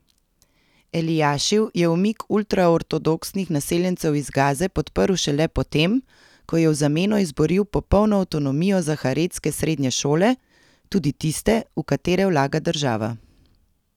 Elijašiv je umik ultraortodoksnih naseljencev iz Gaze podprl šele potem, ko je v zameno izboril popolno avtonomijo za haredske srednje šole, tudi tiste, v katere vlaga država.